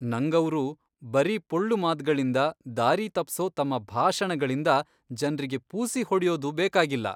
ನಂಗವ್ರು ಬರೀ ಪೊಳ್ಳು ಮಾತ್ಗಳಿಂದ, ದಾರಿ ತಪ್ಸೋ ತಮ್ಮ ಭಾಷಣಗಳಿಂದ ಜನ್ರಿಗೆ ಪೂಸಿ ಹೊಡ್ಯೋದು ಬೇಕಾಗಿಲ್ಲ.